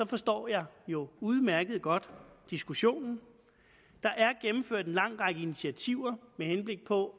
forstår jeg jo udmærket godt diskussionen en lang række initiativer med henblik på